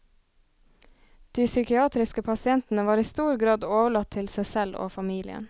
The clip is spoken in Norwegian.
De psykiatriske pasientene var i stor grad overlatt til seg selv og familien.